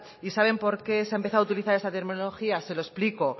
y saben por qué se ha empezado a utilizar esta terminología se lo explico